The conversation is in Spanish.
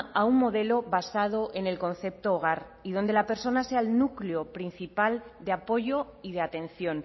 a un modelo basado en el concepto hogar y donde la persona sea el núcleo principal de apoyo y de atención